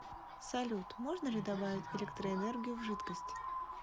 салют можно ли добавить электроэнергию в жидкость